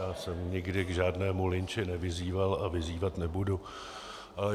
Já jsem nikdy k žádnému lynči nevyzýval a vyzývat nebudu.